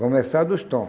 Começar dos tom.